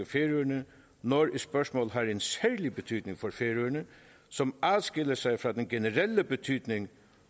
færøerne når et spørgsmål har en særlig betydning for færøerne som adskiller sig fra den generelle betydning